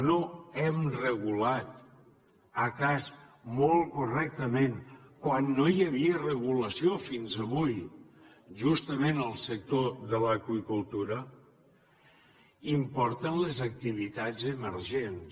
no hem regulat potser molt correctament quan no hi havia regulació fins avui justament el sector de l’aqüicultura importen les activitats emergents